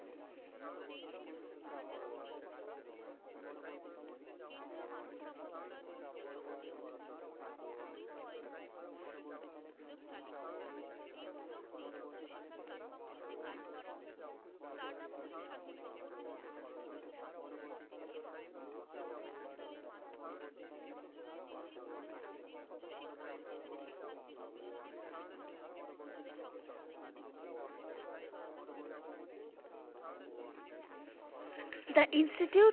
The institute